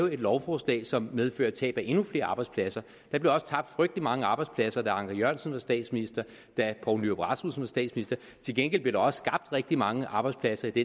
et lovforslag som medfører tab af endnu flere arbejdspladser der blev også tabt frygtelig mange arbejdspladser da anker jørgensen var statsminister da poul nyrup rasmussen var statsminister til gengæld blev der også skabt rigtig mange arbejdspladser i